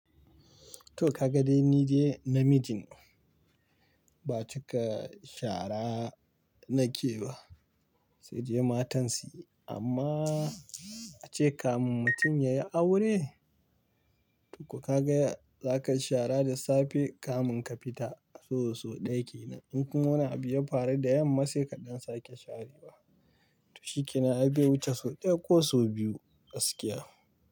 To ka ga dai nide na mijine, ba cika shara nake ba, sai de matan suyi, amma ace kamun mutum yayi aure, to ka ga zaka shara da safe kamun ka fita so so ɗaya kenan. In kuma wani abu ya faru da yamma sai kaɗan sake sharewa. To shi kenan be wuce so ɗaya ko so biyu gaskiya.